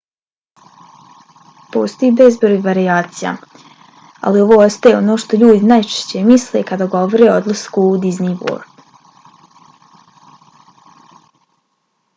postoji bezbroj varijacija ali ovo ostaje ono što ljudi najčešće misle kada govore o odlasku u disney world